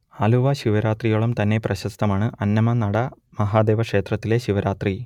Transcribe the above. ആലുവ ശിവരാത്രിയോളം തന്നെ പ്രശസ്തമാണ് അന്നമനട മഹാദേവ ക്ഷേത്രത്തിലെ ശിവരാത്രി